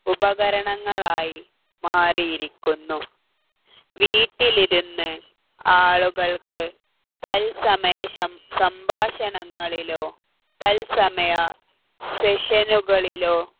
ഉപകരണങ്ങളായി മാറിയിരിക്കുന്നു വീട്ടിലിരുന്ന് ആളുകൾക്ക് തൽസമയം സംഭാഷണങ്ങളിലോ തൽസമയം session കളിലോ